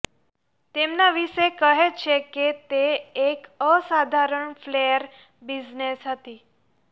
તેમના વિષે કહે છે કે તે એક અસાધારણ ફ્લેર બિઝનેસ હતી